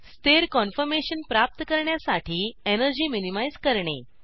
स्थिर कन्फर्मेशन प्राप्त करण्यासाठी एनर्जी मिनिमाइज करणे